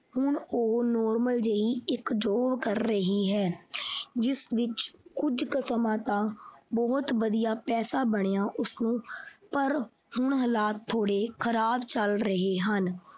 ਹੁਣ ਉਹ normal ਜਿਹੀ ਇੱਕ job ਕਰ ਰਹੀ ਹੈ ਜਿਸ ਵਿੱਚ ਕੁਝ ਕੁ ਸਮਾਂ ਤਾ ਬਹੁਤ ਵਧੀਆ ਪੈਸਾ ਬਣਿਆ ਉਸਨੂੰ ਪਰ ਹੁਣ ਹਾਲਾਤ ਥੋੜੇ ਖਰਾਬ ਚੱਲ ਰਹੇ ਹਨ।